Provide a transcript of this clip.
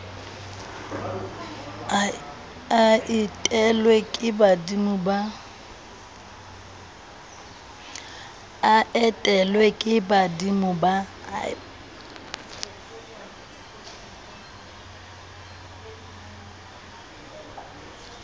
a etelwe ke badimo ba